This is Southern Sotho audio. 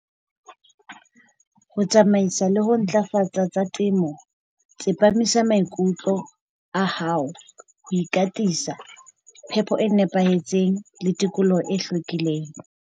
Ho tsamaisa le ho ntlafatsa tsa temo, tsepamisa maikutlo a hao ho ikatisa phepo e nepahetseng le tikoloho e hlwekileng.